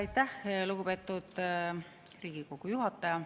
Aitäh, lugupeetud Riigikogu esimees!